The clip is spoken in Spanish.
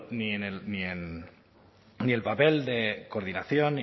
ni el papel de coordinación